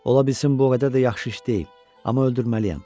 Ola bilsin bu o qədər də yaxşı iş deyil, amma öldürməliyəm.